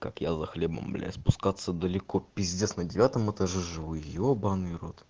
как я за хлебом спускаться далеко пиздец на девятом этаже живу ебанный рот